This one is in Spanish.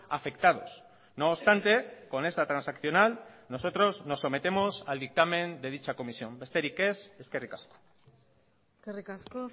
afectados no obstante con esta transaccional nosotros nos sometemos al dictamen de dicha comisión besterik ez eskerrik asko eskerrik asko